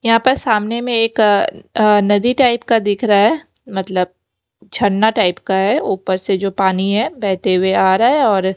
यहां पर सामने में एक अ नदी टाइप का दिख रहा है मतलब छन्ना टाइप का है ऊपर से जो पानी है बहते हुए आ रहा है और--